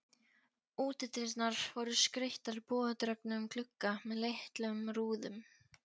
Útidyrnar voru skreyttar bogadregnum glugga með litlum rúðum.